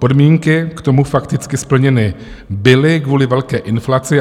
Podmínky k tomu fakticky splněny byly kvůli velké inflaci.